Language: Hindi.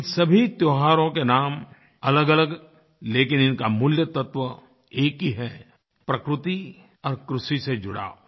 इन सभी त्योहारों के नाम अलगअलग लेकिन इनका मूलतत्व एक ही है प्रकृति और कृषि से जुड़ाव